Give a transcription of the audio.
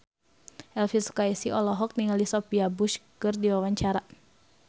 Elvi Sukaesih olohok ningali Sophia Bush keur diwawancara